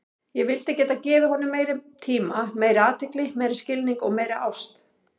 Ég vildi geta gefið honum meiri tíma, meiri athygli, meiri skilning og meiri ást.